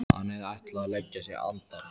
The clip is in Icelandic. Hann hafði ætlað að leggja sig andar